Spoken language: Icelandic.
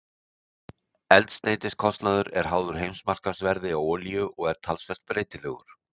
Eldsneytiskostnaður er háður heimsmarkaðsverði á olíu og er talsvert breytilegur.